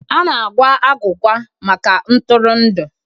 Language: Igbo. A na-agwa agwụgwa maka ntụrụndụ.